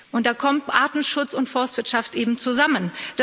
Und da kommt Artenschutz und Forstwirtschaft eben zusammen.